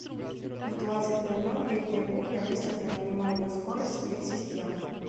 в двадцать ноль ноль летняя кухня выставь на минимальную скорость сплит системы